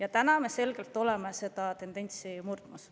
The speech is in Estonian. Aga täna me oleme selgelt seda tendentsi murdmas.